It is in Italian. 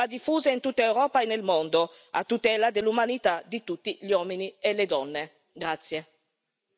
È una buona pratica, che va diffusa in tutta Europa e nel mondo, a tutela dell'umanità di tutti gli uomini e le donne.